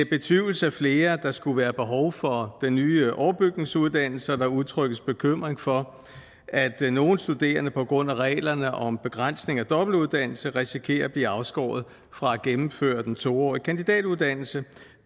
betvivles af flere at der skulle være behov for den nye overbygningsuddannelse og der udtrykkes bekymring for at nogle studerende på grund af reglerne om begrænsning af dobbeltuddannelse risikerer at blive afskåret fra at gennemføre den to årige kandidatuddannelse